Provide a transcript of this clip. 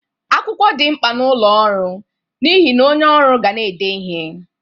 Akwụkwọ dị mkpa n'ọlụ ọrụ n'ihe na onye ọrụ ga na-ede ihe.